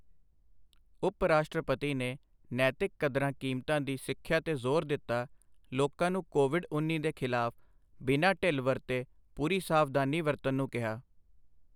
ਉਪ ਰਾਸ਼ਟਰਪਤੀ ਨੇ ਨੈਤਿਕ ਕਦਰਾਂ ਕੀਮਤਾਂ ਦੀ ਸਿੱਖਿਆ ਤੇ ਜ਼ੋਰ ਦਿੱਤਾ, ਲੋਕਾਂ ਨੂੰ ਕੋਵਿਡ ਉੱਨੀ ਦੇ ਖ਼ਿਲਾਫ਼ ਬਿਨਾ ਢਿੱਲ ਵਰਤੇ ਪੂਰੀ ਸਾਵਧਾਨੀ ਵਰਤਣ ਨੂੰ ਕਿਹਾ